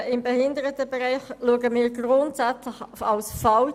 Kürzungen im Behindertenbereich betrachten wir grundsätzlich als falsch.